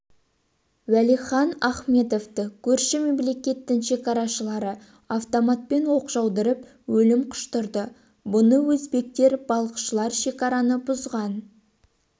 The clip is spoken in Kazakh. уәлихан ахметовты көрші мемлекеттің шекарашылары автоматтан оқ жаудырып өлім құштырды бұны өзбектер балықшылар шекараны бұзған